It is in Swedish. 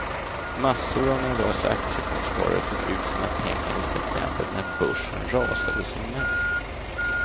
Massor av nervösa aktiefondsparare tog ut sina pengar i september när börsen rasade som mest.